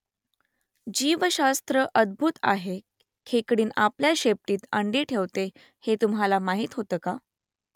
जीवशास्त्र अद्भुत आहे खेकडीण आपल्या शेपटीत अंडी ठेवते हे तुम्हाला माहीत होतं का ?